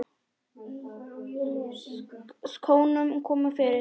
Skónum komið fyrir?